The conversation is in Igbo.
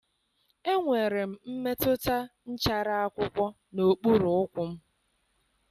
Enwere m mmetụta nchara akwụkwọ n'okpuru ụkwụ m.